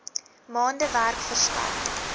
maande werk verskaf